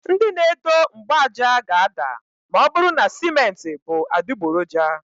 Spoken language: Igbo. Ndị na edo mgbaaja ga-ada ma ọ bụrụ na simenti bú adịgboroja.